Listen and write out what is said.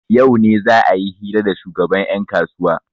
yau ne za a yi hira da shugaban yankasuwa